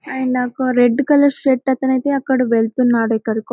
And ఒక red colour shirt అతను అయితే అతను వెళుతున్నాడు ఎక్కడికో.